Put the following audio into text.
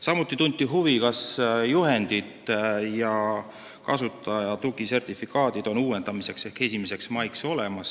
Samuti tunti huvi, kas juhendid ja kasutajate sertifikaadid on uuendamise ajaks ehk 1. maiks olemas.